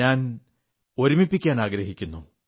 ഞാൻ ഒരുമിപ്പിക്കാനാഗ്രഹിക്കുന്നു